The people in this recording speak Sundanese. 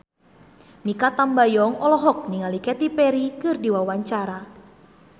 Mikha Tambayong olohok ningali Katy Perry keur diwawancara